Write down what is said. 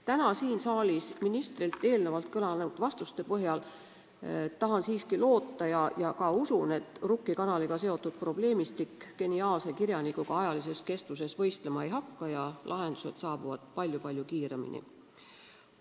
Täna siin saalis ministrilt eelnevalt kõlanud vastuste põhjal tahan siiski loota ja ka usun, et Rukki kanaliga seotud probleemistik geniaalse kirjanikuga kestuse poolest võistlema ei hakka ja lahendused saabuvad palju-palju kiiremini.